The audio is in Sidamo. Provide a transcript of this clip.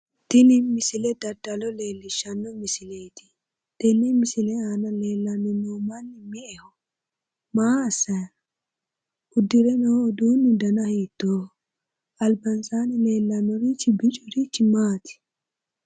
Tini misile daddalo leellishshanno misileeti tenne misile aana leellanni noo manni me'eho? Maa assanni no? Uddire noo uduunni dana hiittooho? Albansaanni leellanorichi biccurichi maati?